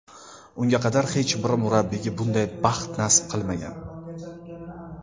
Unga qadar hech bir murabbiyga bunday baxt nasib qilmagan.